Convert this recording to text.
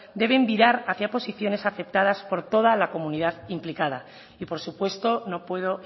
deben virar hacia posiciones aceptadas por toda la comunidad implicada y por supuesto no puedo